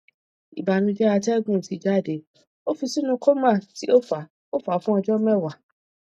ibanujẹ atẹgun ti jade o fi sinu coma ti o fa o fa fun ọjọ mẹwa